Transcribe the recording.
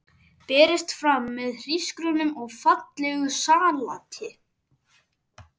Berist fram með hrísgrjónum og fallegu salati.